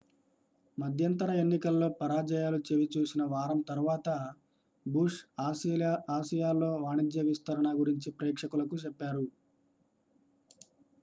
మధ్యంతర ఎన్నికల్లో పరాజయాలు చవి చూసిన వారం తర్వాత బుష్ ఆసియాలో వాణిజ్య విస్తరణ గురించి ప్రేక్షకులకు చెప్పారు